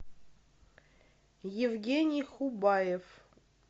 евгений хубаев